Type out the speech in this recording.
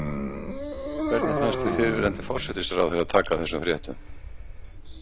Hvernig fannst þér fyrrverandi forsætisráðherra taka þessum fréttum?